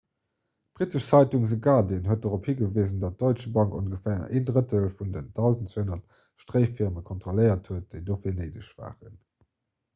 d'brittesch zeitung the guardian huet dorop higewisen datt d'deutsche bank ongeféier en drëttel vun den 1200 stréifirmen kontrolléiert huet déi dofir néideg waren